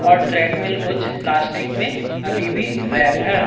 और ट्रेडमिल कुछ प्लास्टिक में अभी भी रैप है।